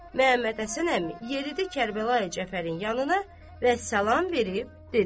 Məhəmmədhəsən əmi yeridi Kərbəlayi Cəfərin yanına və salam verib dedi: